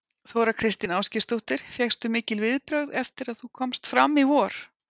Þóra Kristín Ásgeirsdóttir: Fékkstu mikil viðbrögð eftir að þú komst fram í vor?